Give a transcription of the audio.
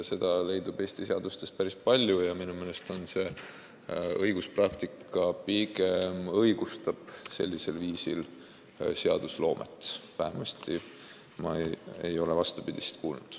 Seda on Eesti seadustes päris palju ja minu meelest õiguspraktika pigem õigustab sellist seadusloomet, vähemasti ei ole ma vastupidist kuulnud.